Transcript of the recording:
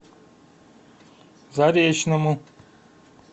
заречному